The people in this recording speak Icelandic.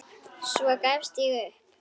Svo gafst ég upp.